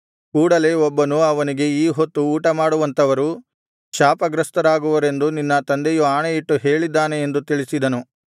ಕೂಡಲೆ ಒಬ್ಬನು ಅವನಿಗೆ ಈ ಹೊತ್ತು ಊಟಮಾಡುವಂಥವರು ಶಾಪಗ್ರಸ್ತರಾಗುವರೆಂದು ನಿನ್ನ ತಂದೆಯು ಆಣೆಯಿಟ್ಟು ಹೇಳಿದ್ದಾನೆ ಎಂದು ತಿಳಿಸಿದನು